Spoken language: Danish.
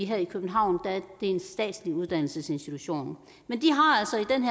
her i københavn er en statslig uddannelsesinstitution